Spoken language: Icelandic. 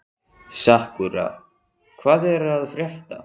Sakura, hvað er að frétta?